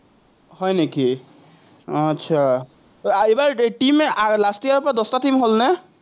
হয় নেকি। আটচা, এইবাৰ টিম last year ৰপৰা দশটা টিম হ'লনে?